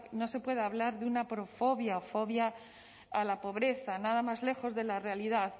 no se puede hablar de una fobia a la pobreza nada más lejos de la realidad